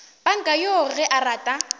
panka yoo ge a rata